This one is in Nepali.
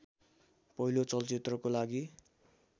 पहिलो चलचित्रको लागि